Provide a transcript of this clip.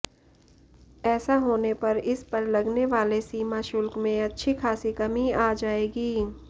ऐसा होने पर इस पर लगने वाले सीमा शुल्क में अच्छी खासी कमी आ जाएगी